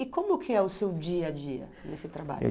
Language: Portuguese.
E como que é o seu dia a dia nesse trabalho?